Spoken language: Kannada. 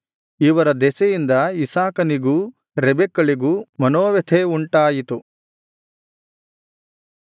ಇವರ ದೆಸೆಯಿಂದ ಇಸಾಕನಿಗೂ ರೆಬೆಕ್ಕಳಿಗೂ ಮನೋವ್ಯಥೆ ಉಂಟಾಯಿತು